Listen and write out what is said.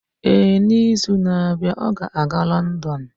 Ee, n'izu na-abịa, ọ ga-aga Lọndon.